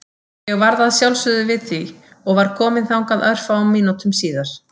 Ég varð að sjálfsögðu við því og var kominn þangað örfáum mínútum síðar.